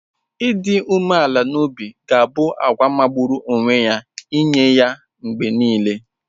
Ịdị umeala n'obi ga-abụ àgwà magburu onwe ya nye ya mgbe nile.